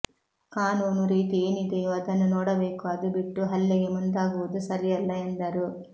ಕಾನೂ ನು ರೀತಿ ಏನಿದೆಯೋ ಅದನ್ನು ನೋಡಬೇಕು ಅದು ಬಿಟ್ಟು ಹಲ್ಲೆಗೆ ಮುಂದಾಗುವುದು ಸರಿಯಲ್ಲ ಎಂದರು